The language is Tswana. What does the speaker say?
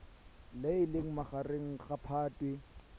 le leng magareng ga phatwe